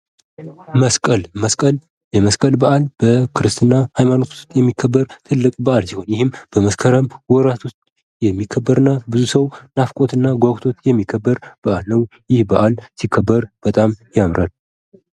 መስቀል የመስቀል በዓል በክርስትና ሃይማኖት ውስጥ የሚከበር ትልቅ በዓል ሲሆን በመስከረም ወራት ውስጥ የሚከበር እና ብዙ ሰው ናፍቆት እና ጓጉቶ የሚከበር በዓል ነው ይህ በአል ሲከበር በጣም ያምራል።